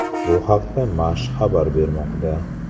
Bu haqda Mash xabar bermoqda .